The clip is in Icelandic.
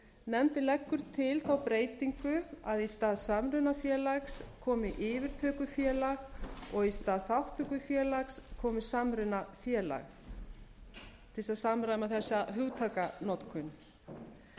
nefndin leggur til þá breytingu að í stað samrunafélags komi yfirtökufélag og í stað þátttökufélags komi samrunafélag til þess að samræma þegar hugtakanotkun nefndinni